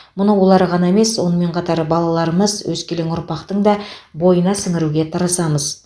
мұны олар ғана емес сонымен қатар балаларымыз өскелең ұрпақтың да бойына сіңіруге тырысамыз